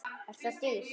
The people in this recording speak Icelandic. Er það dýrt?